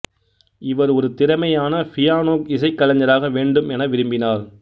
இவர் ஒரு திறமையான பியானோ இசைக் கலைஞராக வேண்டும் என விரும்பினார்